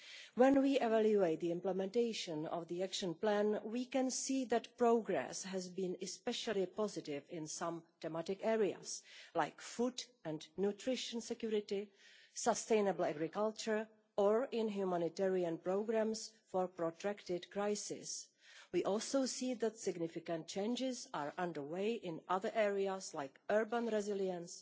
When we evaluate the implementation of the Action Plan, we can see that progress has been especially positive in some thematic areas such as food and nutrition security and sustainable agriculture, or in humanitarian programmes for a protracted crisis. We also see that significant changes are underway in other areas, such as urban resilience,